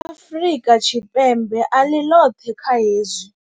Afrika Tshipembe a ḽi ḽoṱhe kha hezwi.